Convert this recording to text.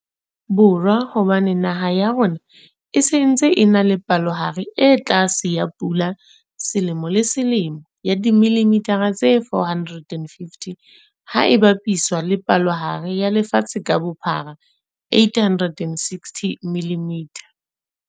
Borwa hobane naha ya rona e se ntse e na le palohare e tlase ya pula selemo le selemo ya dimililitha tse 450, ha e bapiswa le palohare ya lefatshe ka bophara 860ml.